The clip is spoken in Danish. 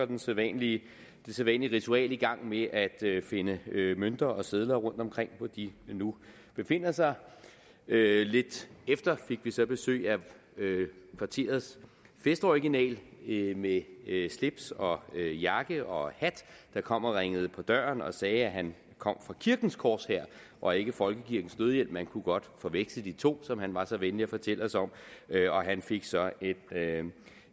det sædvanlige sædvanlige ritual i gang med at finde mønter og sedler rundtomkring hvor de nu befinder sig lidt efter fik vi så besøg af kvarterets festoriginal med slips og jakke og hat der kom og ringede på døren og sagde at han kom fra kirkens korshær og ikke folkekirkens nødhjælp man kunne godt forveksle de to som han var så venlig at fortælle os om og han fik så